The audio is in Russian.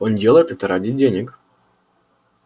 он делает это ради денег